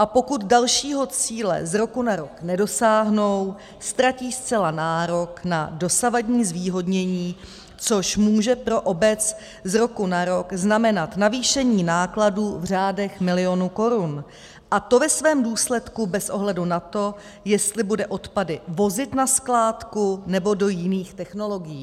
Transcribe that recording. A pokud dalšího cíle z roku na rok nedosáhnou, ztratí zcela nárok na dosavadní zvýhodnění, což může pro obec z roku na rok znamenat navýšení nákladů v řádech milionů korun, a to ve svém důsledku bez ohledu na to, jestli bude odpady vozit na skládku, nebo do jiných technologií.